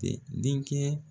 Tɛ denkɛ